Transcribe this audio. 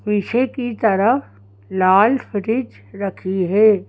पीछे की तरफ लाल फ्रिज रखी हे।